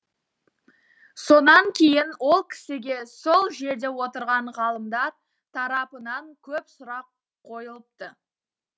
сонан кейін ол кісіге сол жерде отырған ғалымдар тарапынан көп сұрақ қойылыпты